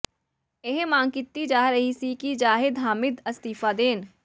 ਇਹ ਮੰਗ ਕੀਤੀ ਜਾ ਰਹੀ ਸੀ ਕਿ ਜ਼ਾਹਿਦ ਹਾਮਿਦ ਅਸਤੀਫ਼ਾ ਦੇਣ